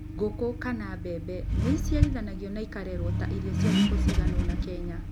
Ngũkũ, kana mbembe, nĩ ciaragio na ikarĩrwo ta irio cia thikũ cigana ũna Kenya.